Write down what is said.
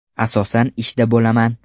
Asosan ishda bo‘laman.